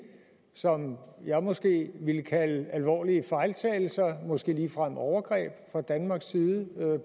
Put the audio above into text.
som jeg måske ville kalde alvorlige fejltagelser måske ligefrem overgreb fra danmarks side